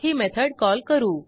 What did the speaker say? return book वर click करा